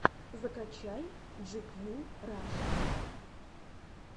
закачай джикью раша